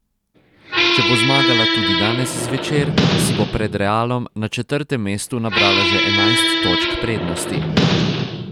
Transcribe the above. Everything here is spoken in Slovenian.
Če bo zmagala tudi danes zvečer, si bo pred Realom na četrtem mestu nabrala že enajst točk prednosti.